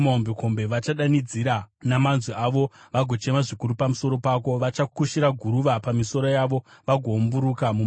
Vachadanidzira namanzwi avo vagochema zvikuru pamusoro pako; vachakusha guruva pamisoro yavo vagoumburuka mumadota.